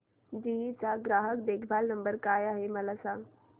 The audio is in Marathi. जीई चा ग्राहक देखभाल नंबर काय आहे मला सांग